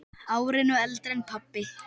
Árinu eldri en pabbi.